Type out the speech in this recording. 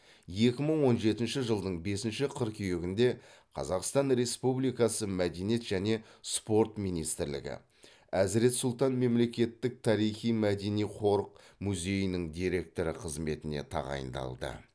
екі мың он жетінші жылдың бесінші қыркүйегінде қазақстан республикасы мәдениет және спорт министрлігі әзірет сұлтан мемлекеттік тарихи мәдени қорық музейінің директоры қызметіне тағайындалды